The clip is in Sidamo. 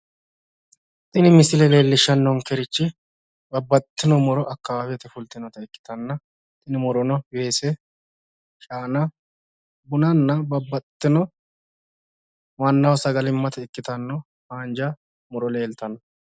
Tini misile leellishanonkehu akawawete muro ikkittanna buna ,weese, shaananna babbaxitinotta haanja muro ikkase leelishano